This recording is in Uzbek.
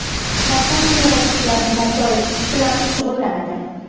Kompaniya yog‘och uylarni barpo etish bilan shug‘ullanadi.